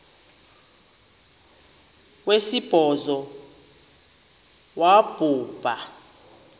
wesibhozo wabhu bha